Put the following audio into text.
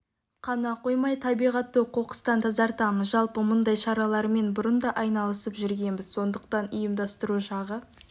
қана қоймай табиғатты қоқыстан тазартамыз жалпы мұндай шаралармен бұрын да айналысып жүргенбіз сондықтан ұйымдастыру жағы